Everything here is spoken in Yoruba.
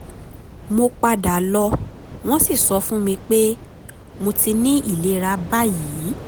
mo padà lọ wọ́n sì sọ fún mi pé mo ti ní ìlera báyìí